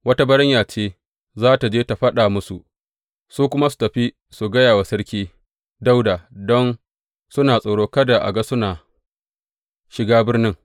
Wata baranya ce za tă je ta faɗa musu, su kuma su tafi su gaya wa Sarki Dawuda don suna tsoro kada a ga suna shiga birnin.